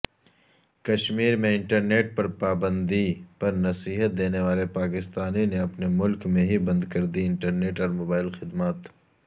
کشمیرمیں internet پرپابندی پرنصیحت دینے والےپاکستان نےاپنےملک میں ہی بند کردی انٹرنیٹ اورموبائل خدمات